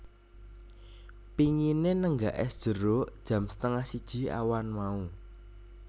Pingine nenggak es jeruk jam setengah siji awan mau